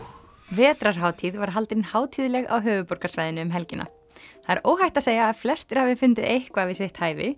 vetrarhátíð var haldin hátíðleg á höfuðborgarsvæðinu um helgina það er óhætt að segja að flestir hafi fundið eitthvað við sitt hæfi